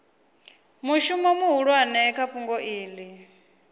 mushumo muhulwane kha fhungo iḽi